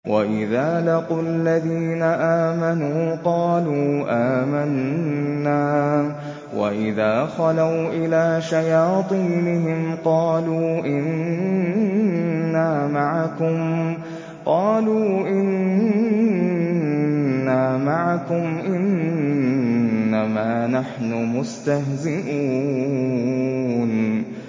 وَإِذَا لَقُوا الَّذِينَ آمَنُوا قَالُوا آمَنَّا وَإِذَا خَلَوْا إِلَىٰ شَيَاطِينِهِمْ قَالُوا إِنَّا مَعَكُمْ إِنَّمَا نَحْنُ مُسْتَهْزِئُونَ